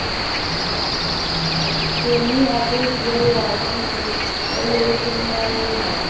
Ke ni abokiyar wasanki ce, lallai kin ma raina ni.